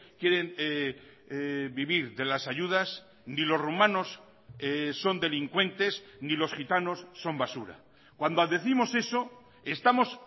quieren vivir de las ayudas ni los rumanos son delincuentes ni los gitanos son basura cuando décimos eso estamos